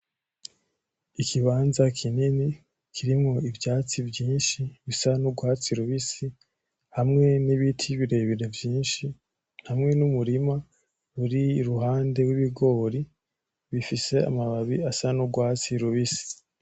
Ikibanza kinini kirimwo ivyatsi vyinshi bisa nurwatsi rubisi, hamwe nibiti birebire vyinshi hamwe numurima uri iruhande wibigori ufise amababi asa nurwatsi rubisi.